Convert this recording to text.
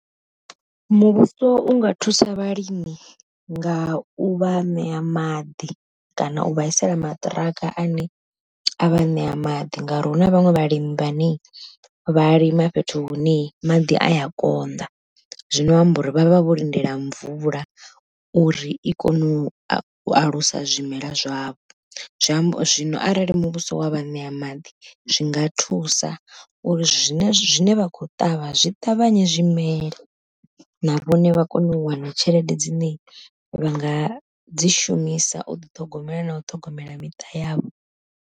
Muvhuso unga thusa vhalimi nga u vha ṋea maḓi kana u vhaisela maṱiraka ane a vha ṋea maḓi, ngauri hu na vhaṅwe vhalimi vhane vha lima fhethu hune maḓi aya konḓa, zwino amba uri vhavha vho lindela mvula uri i kone u alusa zwimela zwavho. Zwi amba uri zwino arali muvhuso wa vha ṋea maḓi zwinga thusa uri zwine zwine vha khou ṱavha zwi ṱavhanye zwimele, na vhone vha kone u wana tshelede dzine vha nga dzi shumisa u ḓi ṱhogomela na u ṱhogomela miṱa yavho.